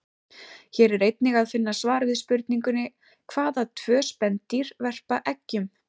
Hér er einnig að finna svar við spurningunni: Hvaða tvö spendýr verpa eggjum?